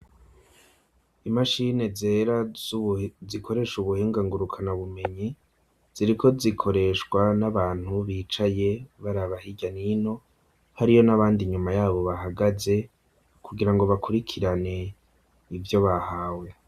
Imashine zera zikoresha ubuhinga ngurukanabumenyi, ziriko zikoreshwa n'abantu bicaye baraba hirya n’ino, hariyo n'abandi inyuma yabo bahagaze, kugira ngo bakurikirane ivyo bahawe.